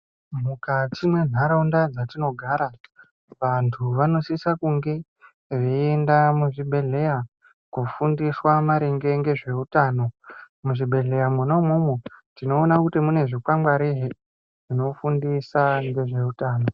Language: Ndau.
Mukati mwenharaunda dzatinogara vantu vanosisa kunge veienda muzvibhehleya kufundiswa maringe ngezveutano. Muzvibhehleya mwona umwomwo tinoona kuti mune zvikwangwari zvinofundisa ngezveutano.